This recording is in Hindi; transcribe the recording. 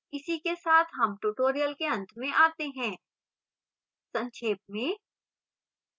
इसी के साथ हम tutorial के अंत में आते हैं संक्षेप में